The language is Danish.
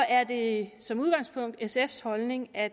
er det som udgangspunkt sfs holdning at